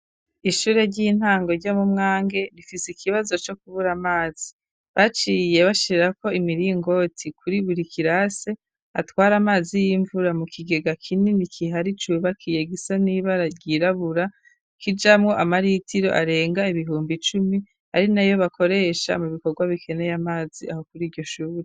Ishure ry'intango rya mu Mwange rifise ikibazo co kubura amazi baciye bashira ko imiringoti kuri buri kirase atwara amazi y'imvura mu kigega kinini kihari cubakiye gisa niba ryirabura k'ijamwo amaritiro arenga ibihumbi cumi ari nayo bakoresha mu bikorwa bikeneye amazi aho kuri iryo shure.